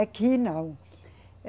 Aqui, não.